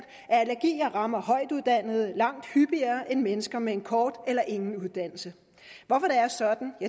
at allergi rammer højtuddannede langt hyppigere end mennesker med en kort eller ingen uddannelse hvorfor